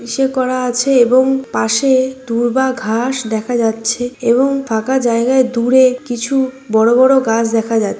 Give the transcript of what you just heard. ইসে করা আছে এবং পাশে দূর্বা ঘাস দেখা যাচ্ছে এবং ফাঁকা জায়গায় দূরে কিছু বড় বড় গাছ দেখা যা--